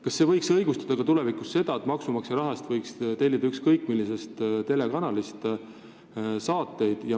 Kas see võiks tulevikus õigustada ka seda, et maksumaksja raha eest tellitakse saateid ükskõik millisest telekanalist?